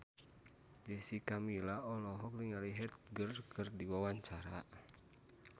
Jessica Milla olohok ningali Heath Ledger keur diwawancara